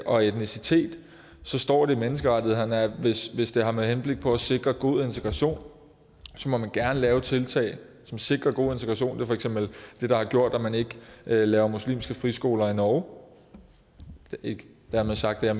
og etnicitet står det i menneskerettighederne at hvis hvis det er med henblik på at sikre god integration må man gerne lave tiltag som sikrer god integration det er for eksempel det der har gjort at man ikke laver muslimske friskoler i norge og ikke dermed sagt at jeg